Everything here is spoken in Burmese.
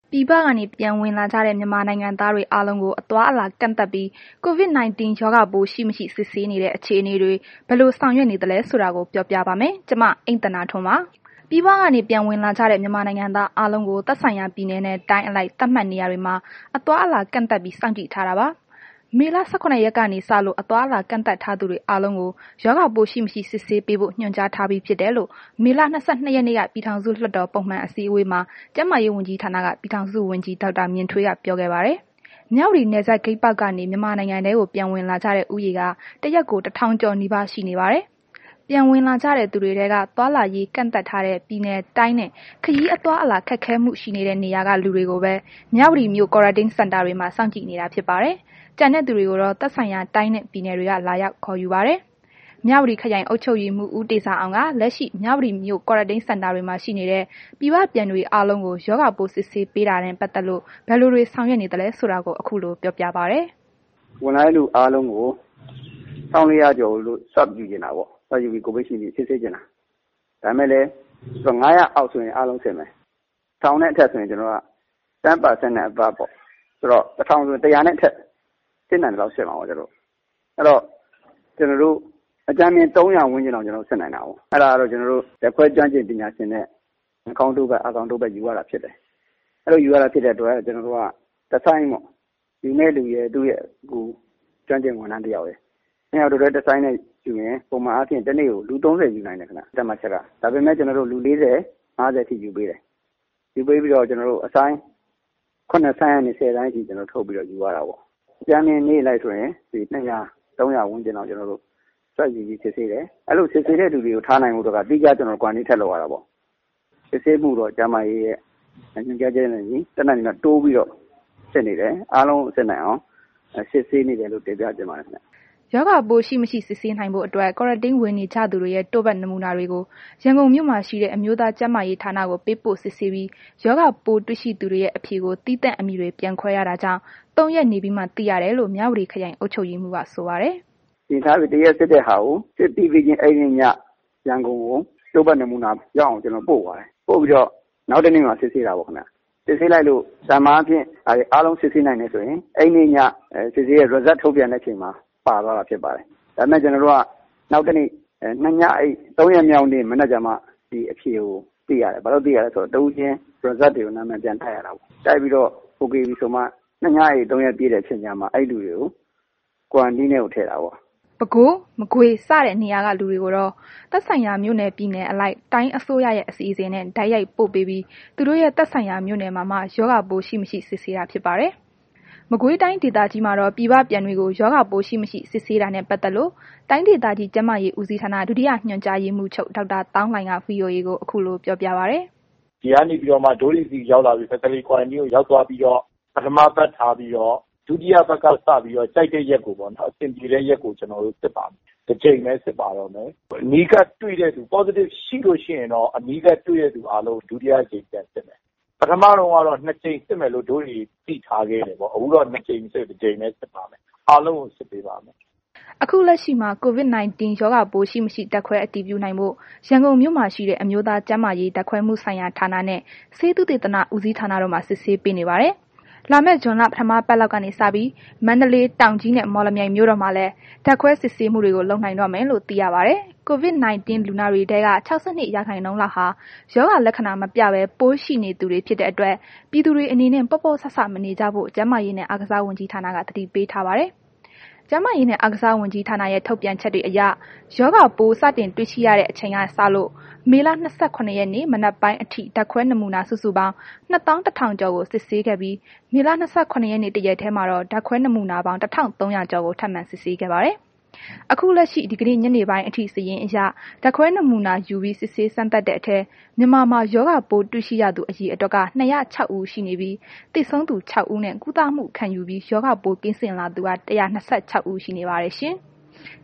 ပြည်ပကနေ ပြန်ဝင်လာကြတဲ့ မြန်မာနိုင်ငံသားတွေအားလုံးကို အသွားအလာ ကန့်သတ်ပြီး COVID-19 ရောဂါပိုး ရှိမရှိ စစ်ဆေးနေတဲ့ အခြေအနေတွေ ဘယ်လိုဆောင်ရွက်နေသလဲဆိုတာကို ဗွီအိုအေ မြန်မာပိုင်းသတင်းထောက် မအိမ့်သန္တာထွန်းက ပြောပြပေးပါမယ်။ ပြည်ပကနေ ပြန်ဝင်လာကြတဲ့ မြန်မာနိုင်ငံသားအားလုံးကို သက်ဆိုင်ရာ ပြည်နယ်နဲ့ တိုင်းအလိုက် သတ်မှတ်နေရာတွေမှာ အသွားအလာကန့်သတ်ပြီး စောင့်ကြည့်ထားတာပါ။ မေလ ၁၇ ရက်နေ့ကနေစလို့ အသွားအလာ ကန့်သတ်ထားသူတွေအားလုံးကို ရောဂါပိုးရှိမရှိ စစ်ဆေးပေးဖို့ ညွှန်ကြားထားပြီး ဖြစ်တယ်လို့ မေလ ၂၂ ရက်နေ့က ပြည်ထောင်စုလွှတ်တော် ပုံမှန်အစည်းအဝေးမှာ ကျန်းမာရေးဝန်ကြီးဌာန ပြည်ထောင်စုဝန်ကြီး ဒေါက်တာ မြင့်ထွေးက ပြောခဲ့ပါတယ်။ မြဝတီနယ်စပ်ဂိတ်ပေါက်ကနေ မြန်မာနိုင်ငံထဲကို ပြန်ဝင်လာကြတဲ့ ဦးရေက တစ်ရက်ကို ၁,၀၀၀ ကျော် နီးပါး ရှိနေပါတယ်။ ပြန်ဝင်လာကြတသူတွေထဲက သွားလာရေး ကန့်သတ်ထားတဲ့ ပြည်နယ်၊ တိုင်းနဲ့ ခရီးအသွားအလာ ခက်ခဲမှု ရှိနေတဲ့ နေရာက လူတွေကိုပဲ မြဝတီမြို့ Quarantine Center တွေမှာ စောင့်ကြည်နေတာဖြစ်ပါတယ်။ ကျန်သူတွေကိုတော့ သက်ဆိုင်ရာတိုင်းနဲ့ ပြည်နယ်တွေက လာရောက်ခေါ်ယူပါတယ်။ မြဝတီခရိုင် အုပ်ချုပ်ရေးမှူး ဦးတေဇာအောင်က လက်ရှိ မြဝတီမြို့ Quarantine Center တွေမှာ ရှိနေတဲ့ ပြည်ပပြန်တွေအားလုံးကို ရောဂါပိုး စစ်ဆေးပေးတာနဲ့ ပတ်သက်လို့ ဘယ်လိုတွေ ဆောင်ရွက်နေသလဲဆိုတာကို ခုလို ပြောပြပါတယ်။ “ဝင်လာတဲ့လူ အားလုံးကို ၁,၄၀၀ ကျော်ကို စိစဉ်တာပေါ့၊ ကိုဗစ်စစ်ဆေးချင်တာ၊ ဒါပေမဲ့လည်း ၅၀၀ အောက်ဆိုရင် အားလုံးစစ်မယ်။ ၁,၀၀၀နဲ့ အထက်ဆိုရင် ကျနော်တို့က ၁၀ ရာခိုင်နှုန်းနဲ့ အထက်ပေ့ါ၊ ဆိုတော့ ၁,၀၀၀ ဆို ၁၀၀ နဲ့ အထက် စစ်နိုင်သလောက် စစ်မှာပေါ့ ကျနော်တို့ အဲ့တော့ ကျနော်တို့ ၃၀၀ ဝန်ကျင်လောက် စစ်နိုင်တာပေါ့။ အဲ့တာကတော့ ကျနော်တို့ ဓာတ်ခွဲကျွမ်းကျင် ပညာရှင်နဲ့ နှာခေါင်းတို့ပတ်၊ အာခေါင်တို့ပတ် ယူရတာဖြစ်တယ်။ အဲ့လိုယူရတာဖြစ်တဲ့ အတွက် ကျနော်တို့က တစ်ဆိုင်းပေါ့။ ယူမယ်သူရယ်၊ သူ့ရဲ့ အကူ ကျွမ်းကျင်ဝန်ထမ်း တစ်ယောက်ရယ်။ နှစ်ယောက်တစ်တွဲ တစ်ဆိုင်းနဲ့ဆိုရင် ပုံမှန်အားဖြင့် တစ်နေ့ကို လူသုံးဆယ်ယူနိုင်တယ်ခင်ဗျ၊ သတ်မှတ်ချက်က ဒါပေမဲ့ ကျနော်တို့ လူ ၄၀၊ ၅၀ အထိယူပေးတယ်။ ယူပေးပြီးတော့ ကျနော်တို့ အဆိုင်း ၇ ဆိုင်းကနေ ၁၀ ဆိုင်းအထိ ကျနော်တို့ ထုတ်ပြီးတော့ ယူရတာပေါ့။ အကြမ်းဖျင်းနေ့အလိုက်ဆိုရင် လူ ၂၀၀၊ ၃၀၀ ဝန်ကျင်လောက် ကျနော်တို့ စစ်ဆေးတယ်။ အဲ့လို စစ်ဆေးတဲ့လူတွေကို ထားနိုင်ဖို့က သီးခြား ကျနော်တို့ Quarantine ထပ်လုပ်ရတာပေါ့။ စစ်ဆေးမှုကိုတော့ ကျန်းမာရေးဌာနရဲ့ သတ်မှတ်ချက်တွေနဲ့ အညီ တတ်နိုင်သမျှ တိုးပြီးတော့ စစ်နေတယ်။ အားလုံးကို စစ်နိုင်အောင် စစ်ဆေးနေတယ်လို့ တင်ပြချင်ပါတယ်။” ရောဂါပိုးရှိမရှိစစ်ဆေးနိုင်ဖို့အတွက် Quarantine ဝင်နေကြသူတွေရဲ့ တို့ပတ်နမူနာတွေကို ရန်ကုန်မှာ ရှိတဲ့ အမျိုးသားကျန်းမာရေးဌာနကို ပေးပို့စစ်ဆေးပြီး ရောဂါပိုးတွေ့ရှိသူတွေရဲ့ အဖြေကို သီးသန့် အမည်တွေပြန်ခွဲရတာကြောင့် ၃ ရက်နေပြီးမှ သိရတယ်လို့ မြဝတီ ခရိုင်အုပ်ချုပ်ရေးမှူးက ဆိုပါတယ်။ “တစ်ရက်စစ်တဲ့ဟာကို ပြီးပြီချင်း အဲ့နေည ရန်ကုန်ကို တို့ပတ်နမူနာ ရောက်အောင် ကျနော်တို့ ပို့ပါတယ်။ ပို့ပြီးတော့ နောက်တစ်နေ့မှာ စစ်ဆေးတာပေါ့ခင်ဗျ။ ပုံမှန်အားဖြင့် အားလုံးစစ်ဆေးနိုင်တယ်ဆိုရင် အဲ့နေ့ည စစ်ဆေးတဲ့ Result ထုတ်ပြန်တဲ့အချိန်မှာ ပါသွားတာဖြစ်ပါတယ်။ ဒါပေမဲ့ ကျနော်တို့က နှစ်ညအိပ် သုံးရက်မြောက်နေ့ မနက်ကျမှ ဒီအဖြေကိုသိရတယ်။ ဘာလို့ သိရလဲဆို တော့ တစ်ဦးချင်း Result တွေကို နာမည်ပြန်တပ်ရတာကိုး။ တိုက်ပြီးတော့ အိုကေပြီဆိုမှ နှစ်ညအိပ် သုံးရက် ပြည့်တဲ့ အချိန်ကျမှ အဲ့လူတွေကို Quarantine ထဲကို ထည့်တာပေါ့။” ပဲခူး၊ မကွေးစတဲ့ နေရာက လူတွေကိုတော့ သက်ဆိုင်ရာ မြို့နယ် ပြည်နယ်အလိုက် တိုင်းအစိုးရရဲ့ အစီအစဉ်နဲ့ တိုက်ရိုက် ပို့ပေးပြီး သူတို့ရဲ့ သက်ဆိုင်ရာ မြို့နယ်မှာမှ ရောဂါပိုးရှိ၊ မရှိ စစ်ဆေးတာဖြစ်ပါတယ်။ မကွေးတိုင်းဒေသကြီးမှာ ပြည်ပပြန်တွေကို ရောဂါပိုးရှိမရှိ စစ်ဆေးတာနဲ့ ပတ်သက်လို့ တိုင်းဒေသကြီး ကျန်းမာရေးဦးစီးဌာန ဒုတိယညွှန်ကြားမှူးချုပ် ဒေါက်တာ သောင်းလှိုင်က VOA ကို ခုလို ပြောပြပါတယ်။ “ဒီကနေပြီးတော့ Facility Quarantine ကို ရောက်သွားပြီးလို့ရှိရင် ပထမ တစ်ပတ်ထားပြီးတော့ ဒုတိယပတ်က စပြီးတော့ ကြိုက်တဲ့ ရက်ကိုပေါ့နော်။ အဆင်ပြေတဲ့ ရက်ကို ကျနော်တို့ စစ်ပါတယ်။ တစ်ကြိမ်ပဲ စစ်ပါတော့မယ်။ ဟို အနီးကပ်တွေတဲ့လူ Positive ရှိလို့ ရှိရင်တော့ အနီးကပ်တွေတဲ့သူ အားလုံးကို ဒုတိယတစ်ကြိမ် ပြန်စစ်မယ်။ ပထမတုန်းကတော့ နှစ်ကြိမ်စစ်မယ်လို့ ဒို့တွေ သိထားခဲ့တယ်ပေါ့။ ဒါပေမဲ့ ခုတော့ နှစ်ကြိမ်မဟုတ်ဘဲ တစ်ကြိမ်ပဲ စစ်တော့မှာပါ။ အားလုံးကို စစ်ပါမယ်။” ခု လက်ရှိမှာ COVID-19 ရောဂါပိုးရှိ၊ မရှိ ဓာတ်ခွဲ အတည်ပြုနိုင်ဖို့ ရန်ကုန်မြို့မှာ ရှိတဲ့ အမျိုးသားကျန်းမာရေး ဓာတ်ခွဲမှုဆိုင်ရာ ဌာနနဲ့ ဆေးသုတေသန ဦးစီးဌာနတို့မှာ စစ်ဆေးပေးနေပါတယ်။ လာမယ့် ဇွန်လ ပထမပတ်လောက်ကနေစပြီး မန္တလေး၊ တောင်ကြီးနဲ့ မော်လမြိုင်မြို့တို့မှာလည်း ဓာတ်ခွဲစစ်ဆေးမှုတွေ လုပ်နိုင်တော့မယ်လို့ သိရပါတယ်။ COVID လူနာတွေထဲက ၆၂ ရာခိုင်နှုန်းလောက်ဟာ ရောဂါလက္ခဏာ မပြဘဲ ပိုးရှိနေသူတွေ ဖြစ်တဲ့အတွက် ပြည်သူတွေအနေနဲ့ ပေါ့ပေါ့ဆဆ မနေကြဖို့ ကျန်းမာရေးနဲ့ အားကစားဝန်ကြီးဌာနက သတိပေးထားပါတယ်။ ကျန်းမာရေးနှင့် အားကစားဝန်ကြီးဌာနရဲ့ ထုတ်ပြန်ချက်တွေအရ ရောဂါပိုး စတင်တွေ့ရှိရတဲ့ အချိန်ကစလို့ မေလ ၂၇ ရက်နေ့ မနက်ပိုင်းအထိ ဓာတ်ခွဲ နမူနာ စုစုပေါင်း ၂၁,၀၀၀ ကျာ်ကို စစ်ဆေးခဲ့ပြီး၊ မေလ ၂၇ ရက်နေ့တရက်တည်းမှာတော့ ဓါတ်ခွဲနမူနာပေါင်း ၁,၃၀၀ ကျော်ကို ထပ်မံစစ်ဆေးခဲ့ပါတယ်။ ခုလက်ရှိ ဒီကနေ့ညနေပိုင်းအထိစာရင်းအရ ဓါတ်ခွဲနမူနာယူပြီး စစ်ဆေးစမ်းသပ်တဲ့အထဲ မြန်မာမှာ ရောဂါပိုး တွေ့ရှိရသူ အရေအတွက်က ၂၀၆ ဦး ရှိနေပြီး၊ သေဆုံးသူ ၆ ဦးနဲ့ ကုသမှု ခံယူပြီး ရောဂါပိုး ကင်းစင်လာသူက ၁၂၆ ဦးရှိပါတယ်ရှင်။